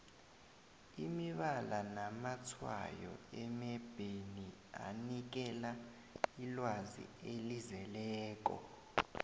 imibala namatshwayo emebheni anikela ilwazi elizeleko